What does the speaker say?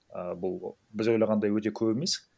ы бұл біз ойлағандай өте көп емес